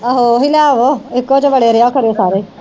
ਆਹੋ ਓਹੀ ਲੈ ਆਵੋ ਇਕੋ ਚ ਵੜਿਆ ਰਹਿਆ ਕਰਿਓ ਸਾਰੇ